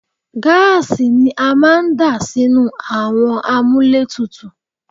Gáàsì ni a máa ń dà sínú àwọn àmúlétuntun